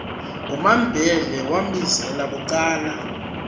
kumambhele wambizela bucala